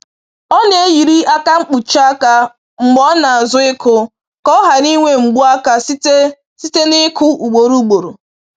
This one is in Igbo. Ọ na-eyiri aka mkpuchi aka mgbe ọ na-azụ ịkụ ka ọ ghara inwe mgbu aka site site n’ịkụ ugboro ugboro